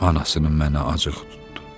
Anasının mənə acıq tutdu.